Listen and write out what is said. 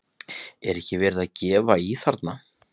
Er ekki verið að gefa í þar?